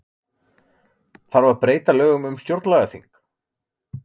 Þarf að breyta lögum um stjórnlagaþing